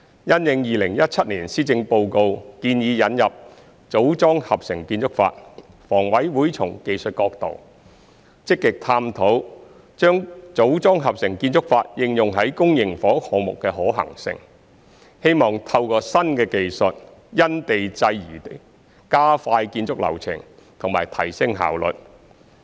因應2017年施政報告建議引入"組裝合成"建築法，房委會從技術角度，積極探討把"組裝合成"建築法應用於公營房屋項目的可行性，希望透過新技術，"因地制宜"加快建築流程及提升效率。